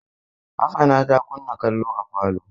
Hassana ta kunna kallo a falo.